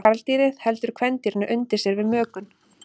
Karldýrið heldur kvendýrinu undir sér við mökun.